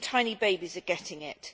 Even tiny babies are getting it.